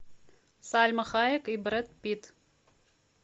сальма хайек и брэд питт